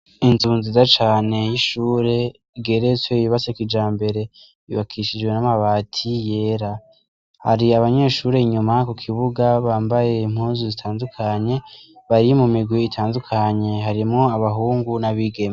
Inzu nziza cane y'ishure igeretse yubatse kijambere yubakishijwe n'amabati yera hari abanyeshure inyuma ku kibuga bambaye impuzu zitandukanye bari mu mirwi itandukanye harimwo abahungu n'abigeme.